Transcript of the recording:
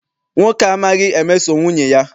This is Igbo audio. Nwoke a amaghi emeso nwunye ya.